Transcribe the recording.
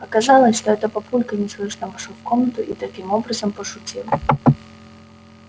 оказалось что это папулька неслышно вошёл в комнату и таким образом пошутил